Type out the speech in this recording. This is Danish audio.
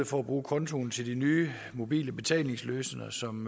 for at bruge kontoen til de nye mobile betalingsløsninger som